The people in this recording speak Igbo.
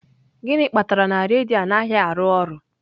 Gịnị kpatara na redio anaghị arụ ọrụ?